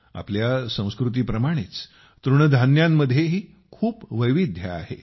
आपल्या संस्कृतीप्रमाणेच तृणधान्यांमध्येही खूप वैविध्य आहे